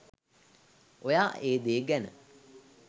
ඔයා ඒ දේ ගැන